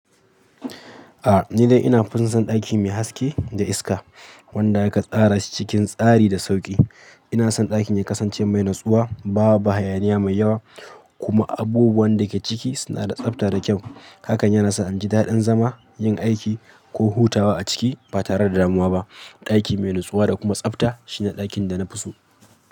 A'a ni dai ina finsa ɗaki mai haske da iska wanda aka tsara cikin tsari da sauki. Ina son ɗakin ya kasance mai natsuwa, ba hayaniya mai yawa kuma abubuwan da ke ciki suna da tsabta da kyau. Hakan yana sa inji daɗin zama, yin aiki ko hutawa a ciki ba tare da damuwa ba. Ɗaki mai natsuwa da kuma tsabta shine ɗakin da na fi so.